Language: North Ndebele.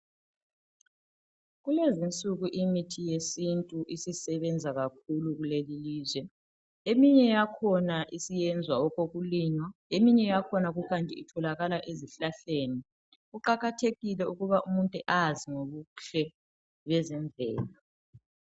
Kulezi insuku imithi yesiNtu isisebenza kakhulu kulelilizwe. Eminye yakhona isiyenzwa okokulinywa eminye yakhona kukanti itholakala ezihlahleni. Kuqakathekile ukuba umuntu azi ngobuhle bezemvelo.